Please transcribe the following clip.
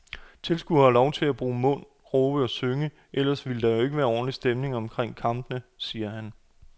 Tilskuerne har lov at bruge mund, råbe og synge, ellers ville der jo ikke være ordentlig stemning omkring kampene, siger han.